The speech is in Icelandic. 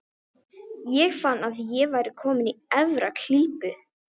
Ég fann að ég var kominn í erfiða klípu.